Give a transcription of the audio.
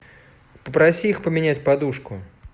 попроси их поменять подушку